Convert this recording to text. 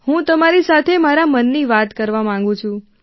હું તમારી સાથે મારા મનની વાત કરવા માંગું છું